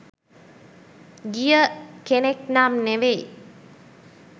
ගිය කෙනෙක් නම් නෙවෙයි.